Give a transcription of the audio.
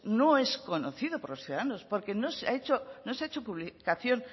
no es conocido por los ciudadanos porque no se ha hecho publicación